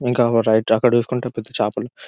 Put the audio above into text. ఇంకా రైట్ అక్కడ చూసుకుంటే పెద్ద చేపలు--